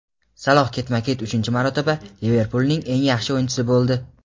Saloh ketma-ket uchinchi marotaba "Liverpul"ning eng yaxshi o‘yinchisi bo‘ldi.